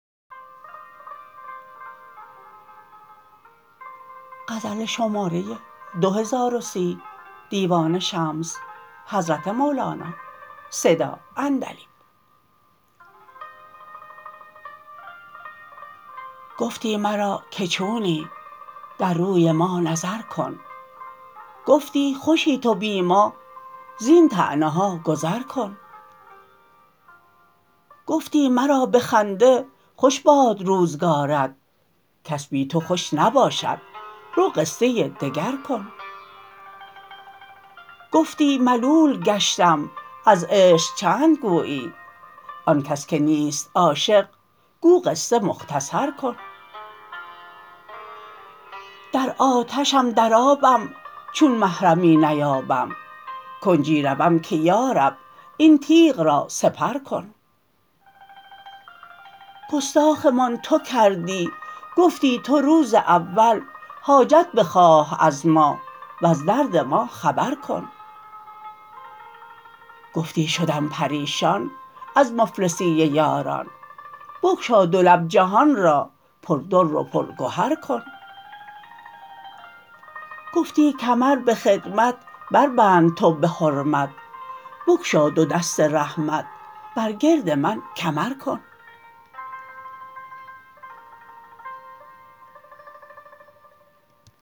گفتی مرا که چونی در روی ما نظر کن گفتی خوشی تو بی ما زین طعنه ها گذر کن گفتی مرا به خنده خوش باد روزگارت کس بی تو خوش نباشد رو قصه دگر کن گفتی ملول گشتم از عشق چند گویی آن کس که نیست عاشق گو قصه مختصر کن در آتشم در آبم چون محرمی نیابم کنجی روم که یا رب این تیغ را سپر کن گستاخمان تو کردی گفتی تو روز اول حاجت بخواه از ما وز درد ما خبر کن گفتی شدم پریشان از مفلسی یاران بگشا دو لب جهان را پردر و پرگهر کن گفتی کمر به خدمت بربند تو به حرمت بگشا دو دست رحمت بر گرد من کمر کن